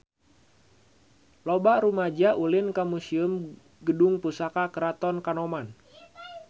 Loba rumaja ulin ka Museum Gedung Pusaka Keraton Kanoman